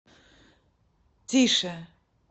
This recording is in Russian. тише